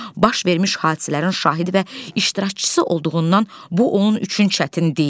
Baş vermiş hadisələrin şahidi və iştirakçısı olduğundan bu onun üçün çətin deyildi.